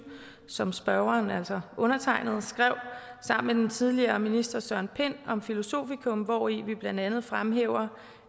som spørgeren altså undertegnede skrev sammen med den tidligere minister søren pind om filosofikum hvori vi blandt andet fremhæver